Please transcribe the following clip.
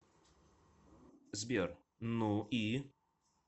сбер ну и